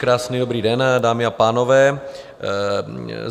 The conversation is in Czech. Krásný dobrý den, dámy a pánové.